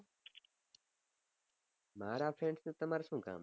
મારા friend નું તમારે શું કામ